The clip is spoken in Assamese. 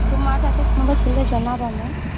তুমাৰ তাতে কোনোবা থাকিলে জনাবা মোক